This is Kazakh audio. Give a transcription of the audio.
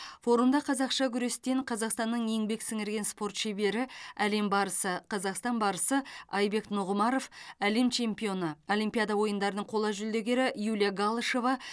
форумда қазақша күрестен қазақстанның еңбек сіңірген спорт шебері әлем барысы қазақстан барысы айбек нұғымаров әлем чемпионы олимпиада ойындарының қола жүлдегері юлия галышева